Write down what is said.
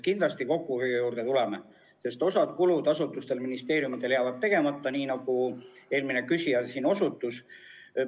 Kindlasti me kokkuhoiu juurde veel tuleme, sest osa kulutusi jääb asutustel, ministeeriumidel tegemata, nagu eelmine küsija osutas.